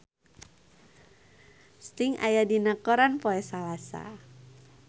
Sting aya dina koran poe Salasa